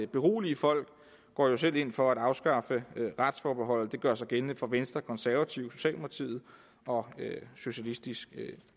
berolige folk går jo selv ind for at afskaffe retsforbeholdet det gør sig gældende for venstre konservative socialdemokratiet og socialistisk